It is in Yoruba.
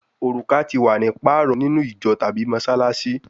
Oruka ti wa ni paarọ ninu ijo tabi Mossalassi